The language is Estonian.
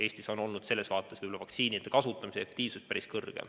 Eestis on olnud vaktsiinide kasutamise efektiivsus päris suur.